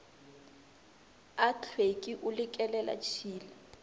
a tlhweki o le kelelatshila